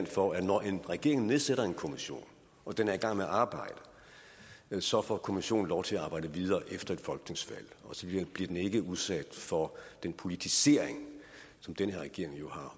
for at når en regering nedsætter en kommission og den er i gang med arbejde så får kommissionen lov til at arbejde videre efter et folketingsvalg og så bliver den ikke udsat for den politisering som den her regering jo har